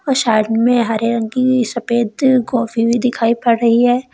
और साइड में हरे रंग की सफेद गोभी भी दिखाई पड़ रही है।